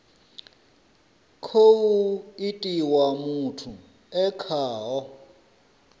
khou itiwa muthu e khaho